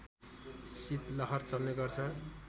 शीतलहर चल्ने गर्छ